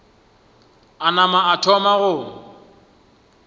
a nama a thoma go